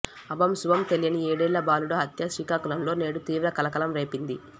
అభం శుభం తెలియని ఏడేళ్ల బాలుడి హత్య శ్రీకాకుళంలో నేడు తీవ్ర కలకలం రేపింది